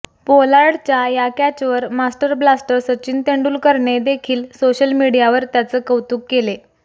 पोलार्डच्या या कॅचवर master blaster Sachin तेंडुलकरने देखील सोशल मीडियावर त्याचे कौतुक केले